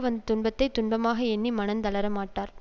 வந்த துன்பத்தை துன்பமாக எண்ணி மனந் தளரமாட்டார்